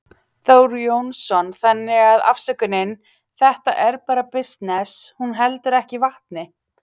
Þór Jónsson: Þannig að afsökunin, þetta er bara bisness, hún heldur ekki vatni?